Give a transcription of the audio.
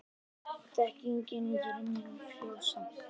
þekkingin gerir menn frjálsa